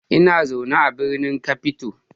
Ina zaune a birnin Cape Town.